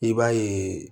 I b'a ye